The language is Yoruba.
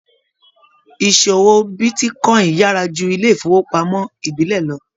Ìṣòwò bitíkọ̀in yára jù ilé ifowopamọ ìbílẹ̀ lọ.